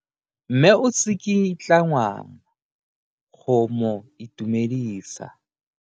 Mme o tsikitla ngwana go mo itumedisa.